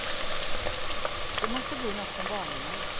Det måste bli nåt från barndomen.